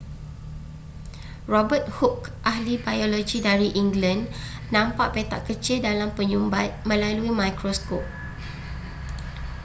robert hooke ahli biologi dari england nampak petak kecil dalam penyumbat melalui mikroskop